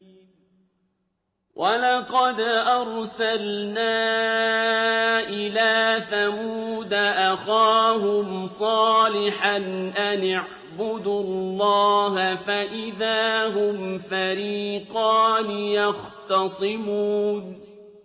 وَلَقَدْ أَرْسَلْنَا إِلَىٰ ثَمُودَ أَخَاهُمْ صَالِحًا أَنِ اعْبُدُوا اللَّهَ فَإِذَا هُمْ فَرِيقَانِ يَخْتَصِمُونَ